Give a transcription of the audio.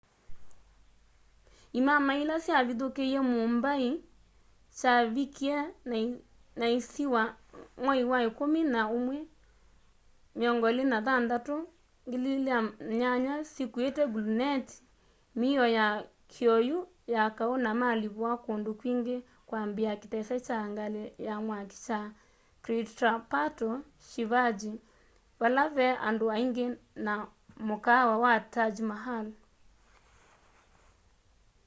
imamai ila syavithukie mumbai kyavikie na isiwa mwai wa ikumi na umwi 26 2008 syikuite gluneti mio ya kioyu ya kau na malipua kundu kwingi kwambiaa kitese kya ngali ya mwaki kya chhatrapato shivaji vale vee andu aingi na mukaawa wa taj mahal